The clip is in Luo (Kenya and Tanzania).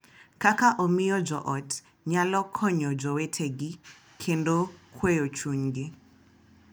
Kaka omiyo jo ot nyalo konyo jowetegi kendo kweyo chunygi.